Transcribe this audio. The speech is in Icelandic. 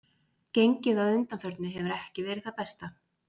Gengið að undanförnu hefur ekki verið það besta.